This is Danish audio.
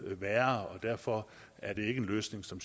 værre og derfor er det ikke en løsning som